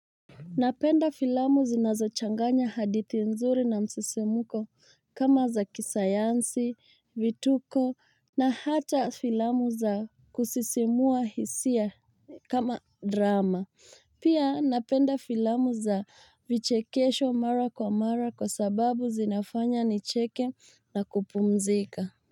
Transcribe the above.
Napenda filamu zinazochanganya hadithi nzuri na msisimuko kama za kisayansi, vituko na hata filamu za kusisimua hisia kama drama. Pia napenda filamu za vichekesho mara kwa mara kwa sababu zinafanya nicheke na kupumzika.